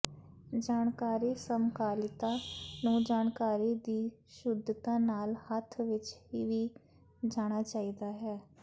ਜਾਣਕਾਰੀ ਸਮਕਾਲੀਤਾ ਨੂੰ ਜਾਣਕਾਰੀ ਦੀ ਸ਼ੁੱਧਤਾ ਨਾਲ ਹੱਥ ਵਿਚ ਵੀ ਜਾਣਾ ਚਾਹੀਦਾ ਹੈ